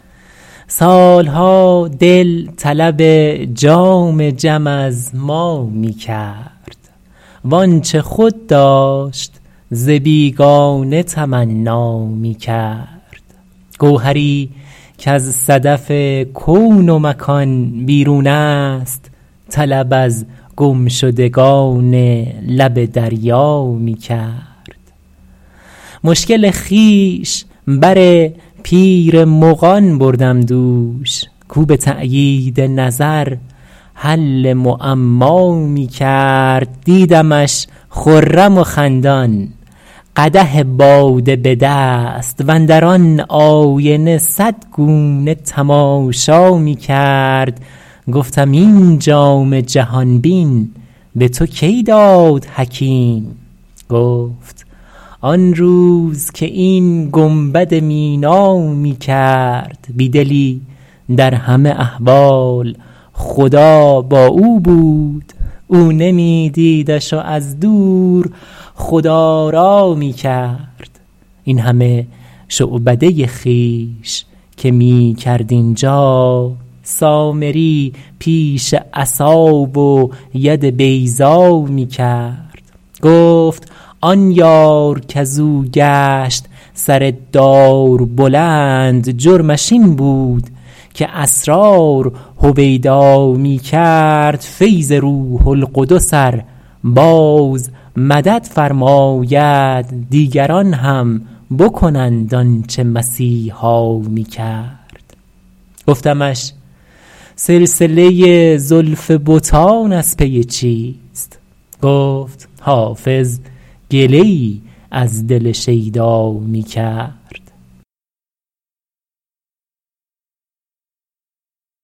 سال ها دل طلب جام جم از ما می کرد وآنچه خود داشت ز بیگانه تمنا می کرد گوهری کز صدف کون و مکان بیرون است طلب از گمشدگان لب دریا می کرد مشکل خویش بر پیر مغان بردم دوش کاو به تأیید نظر حل معما می کرد دیدمش خرم و خندان قدح باده به دست واندر آن آینه صد گونه تماشا می کرد گفتم این جام جهان بین به تو کی داد حکیم گفت آن روز که این گنبد مینا می کرد بی دلی در همه احوال خدا با او بود او نمی دیدش و از دور خدارا می کرد این همه شعبده خویش که می کرد اینجا سامری پیش عصا و ید بیضا می کرد گفت آن یار کز او گشت سر دار بلند جرمش این بود که اسرار هویدا می کرد فیض روح القدس ار باز مدد فرماید دیگران هم بکنند آن چه مسیحا می کرد گفتمش سلسله زلف بتان از پی چیست گفت حافظ گله ای از دل شیدا می کرد